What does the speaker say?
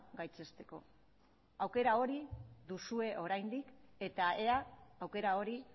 gaitzesteko aukera hori duzue oraindik eta ea aukera hori